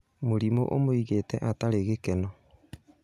Mũrimũũmũigĩte atarĩ gĩkeno